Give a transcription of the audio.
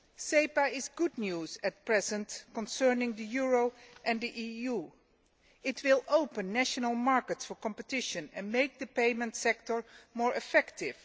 SEPA is good news at present concerning the euro and the EU. It will open up national markets to competition and make the payment sector more effective.